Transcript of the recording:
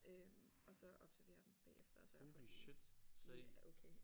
Øh og så observere dem bagefter og sørge for de de er okay